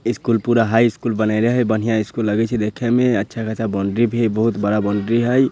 School पूरा high school बनइले हई बढ़िया इस्कूल लगई छे देखे में अच्छा-खासा बोंडरी भी हई बहुत बड़ा बोंडरी भी हई।